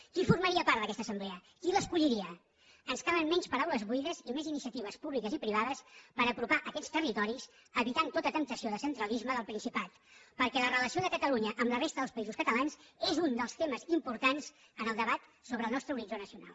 qui formaria part d’aquesta assemblea qui l’escolliria ens calen menys paraules buides i més iniciatives públiques i privades per apropar aquests territoris evitant tota temptació de centralisme del principat perquè la relació de catalunya amb la resta dels països catalans és un dels temes importants en el debat sobre el nostre horitzó nacional